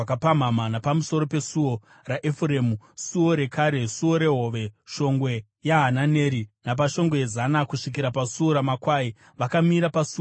napamusoro peSuo raEfuremu, Suo reKare, Suo reHove, Shongwe yaHananeri napaShongwe yeZana, kusvikira paSuo raMakwai. Vakamira paSuo raVarindi.